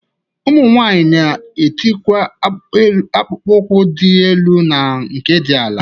Ụmụ nwaanyị na-etikwa akpụkpo ụkwụ dị elu na nke dị ala.